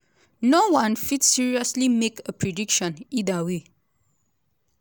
no-one fit seriously make a prediction either way.